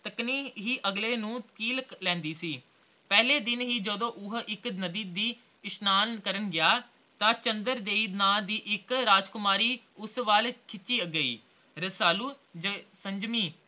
ਤੱਕਣੀ ਹੀ ਅਗਲੇ ਨੂੰ ਕੀਲ ਲੈਂਦੀ ਸੀ ਪਹਿਲੇ ਦਿਨ ਹੀ ਜਦੋ ਉਹ ਇਕ ਨਦੀ ਤੇ ਇਸ਼ਨਾਨ ਕਰਨ ਗਿਆ ਤਾ ਚੰਦਰ ਦੇਈ ਨਾ ਦੀ ਇਕ ਰਾਜਕੁਮਾਰੀ ਸ ਵਾਲ ਖਿੱਚੀ ਗਈ ਰਸਾਲੂ ਦੇ ਸੰਜਮੀ